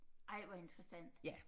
Ej hvor interessant